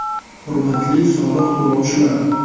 “Hurmatli soliq to‘lovchilar!